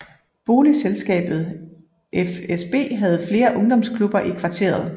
Boligselskabet FSB havde flere ungdomsklubber i kvarteret